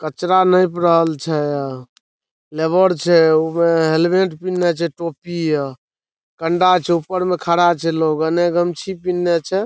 कचरा निप रहल छे। लेबर छे उमें हेमलेट पेन्हले छे टोपी अ ठंडा छे ऊपर में खड़ा छे लोग अ एने गमछी पेन्हले छे।